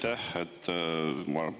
Aitäh!